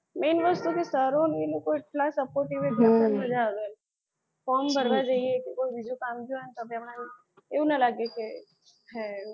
main વસ્તુ શું છે કે સરોને એટલા supportive કે ભણવાની મજા એમ. form ભરવા જઈએ કોઈ બીજું કામ છે તો બી આપણને એવું ના લાગે કે